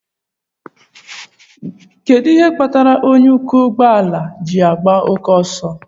Kedu ihe kpatara onye ọkwọ ụgbọ ala ji na oke ọsọ?